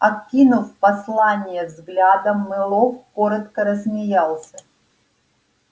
окинув послание взглядом мэллоу коротко рассмеялся